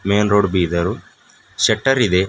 Men road ಬಿದರು ಸೆಟರ್ ಇದೆ.